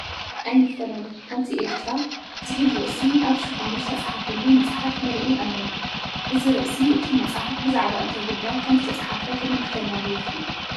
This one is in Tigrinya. ኣይንፈላለ ሓንቲ ኤርትራ ዝብል ርእሲ ኣብ ሽፋኑ ዝተፃሕፈሉ መፅሓፍ ንርኢ ኣለና፡፡ እዚ ርእሲ እቲ መፅሓፍ ብዛዕባ እንታይ ጉዳይ ከምዝተፃሕፈ ከምልክተና ዶ ይኽእል?